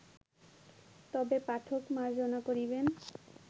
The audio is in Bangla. তবে পাঠক মার্জনা করিবেন